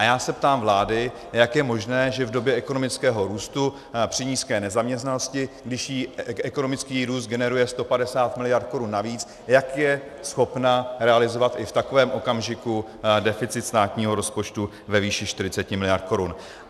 A já se ptám vlády, jak je možné, že v době ekonomického růstu, při nízké nezaměstnanosti, když jí ekonomický růst generuje 150 miliard korun navíc, jak je schopna realizovat i v takovém okamžiku deficit státního rozpočtu ve výši 40 miliard korun.